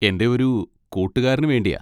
എൻ്റെ ഒരു കൂട്ടുകാരന് വേണ്ടിയാ.